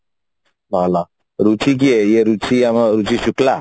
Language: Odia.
ଭଲ ରୁଚି କିଏ ଇଏ ଆମ ରୁଚି ଶୁକ୍ଲା